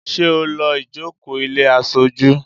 Ṣé o lọ́ ìjókòó ilé aṣojú?